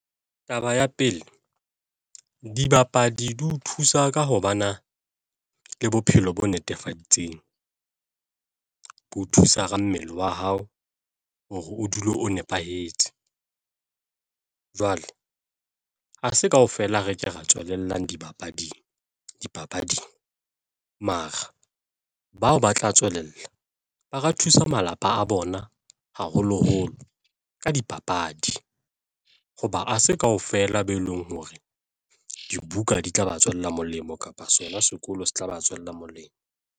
Taba ya pele, dibapadi di o thusa ka ho bana le bophelo bo netefaditseng, ke ho thusa ka mmele wa hao hore o dule o nepahetse. Jwale ha se kaofela, re ke ra tswelellang dipapading mara bao ba tla tswelella ba ka thusa malapa a bona ona haholoholo ka dipapadi hoba ha se kaofela be eleng hore dibuka di tla ba tswela molemo kapa sona sekolo se tla ba tswela molemo.